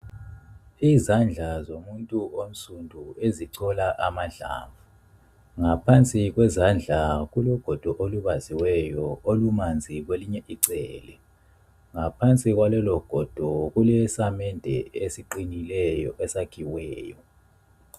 Izandla zomuntu onsundu ezichola amahlamvu. Ngaphansi kwezandla kulogodo olubaziweyo, olumanzi kwelinye icele. Ngaphansi kwalologodo kulesamende esiqinileyo esakhiweyo.